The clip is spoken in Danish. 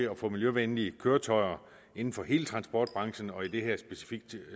at få miljøvenlige køretøjer inden for hele transportbranchen og i det her specifikke